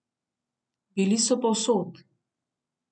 Bili so povsod.